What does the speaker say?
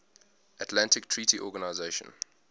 atlantic treaty organisation